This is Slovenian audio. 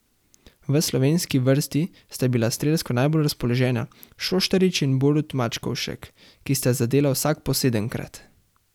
V slovenski vrsti sta bila strelsko najbolj razpoložena Šoštarič in Borut Mačkovšek, ki sta zadela vsak po sedemkrat.